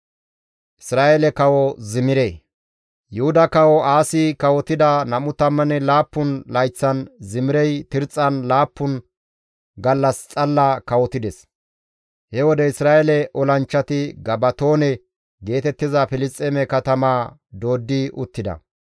Yuhuda Kawo Aasi kawotida 27 layththan Zimirey Tirxxan laappun gallas xalla kawotides. He wode Isra7eele olanchchati Gabatoone geetettiza Filisxeeme katamaa dooddidi uttida.